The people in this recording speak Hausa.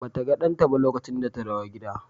Ba ta ga ɗanta ba lokacin da ta dawo gida.